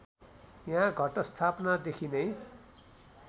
यहाँ घटस्थापनादेखि नै